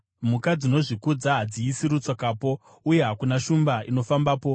Mhuka dzinozvikudza hadziisi rutsokapo, uye hakuna shumba inofambapo.